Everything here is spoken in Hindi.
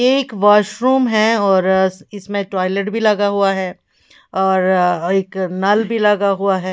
एक वाशरूम है और इसमें टॉयलेट भी लगा हुआ है और एक नल भी लगा हुआ है।